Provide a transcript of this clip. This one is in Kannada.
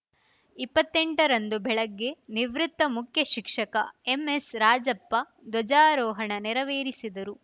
ಇಪ್ಪತ್ತೆಂಟರಂದು ಬೆಳಗ್ಗೆ ನಿವೃತ್ತ ಮುಖ್ಯ ಶಿಕ್ಷಕ ಎಂಎಸ್‌ರಾಜಪ್ಪ ಧ್ವಜಾರೋಹಣ ನೆರವೇರಿಸಿದರು